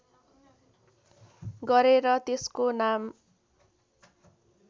गरेर त्यसको नाम